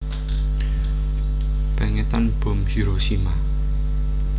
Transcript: Pèngetan bom Hiroshima